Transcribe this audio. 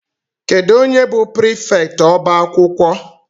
Kedụ onye bụ prịfèkt ọbá akwụkwọ?